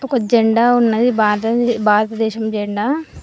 ఒక జెండా ఉన్నది భదద్ భారత దేశం జెండా.